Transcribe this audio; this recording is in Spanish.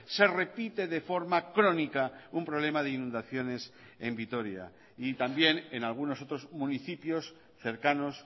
se repite de forma crónica un problema de inundaciones en vitoria y también en algunos otros municipios cercanos